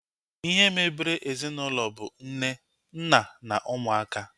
Ihe mebere ezinaụlọ bụ nne, nna na ụmụaka